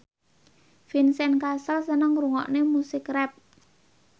Vincent Cassel seneng ngrungokne musik rap